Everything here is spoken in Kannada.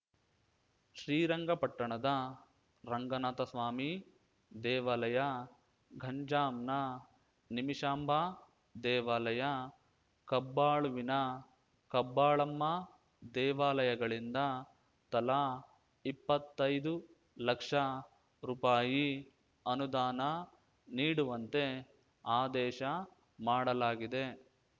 ಶ್ರೀರಂಗಪಟ್ಟಣದ ರಂಗನಾಥಸ್ವಾಮಿ ದೇವಾಲಯ ಗಂಜಾಂನ ನಿಮಿಷಾಂಬ ದೇವಾಲಯ ಕಬ್ಬಾಳುವಿನ ಕಬ್ಬಾಳಮ್ಮ ದೇವಾಲಯಗಳಿಂದ ತಲಾ ಇಪ್ಪತ್ತೈದು ಲಕ್ಷ ರುಪಾಯಿ ಅನುದಾನ ನೀಡುವಂತೆ ಆದೇಶ ಮಾಡಲಾಗಿದೆ